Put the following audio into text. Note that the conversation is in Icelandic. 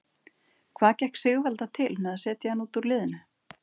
Hvað gekk Sigvalda til með að setja hann út úr liðinu?